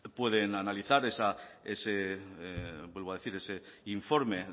pueden analizar vuelvo a decir ese informe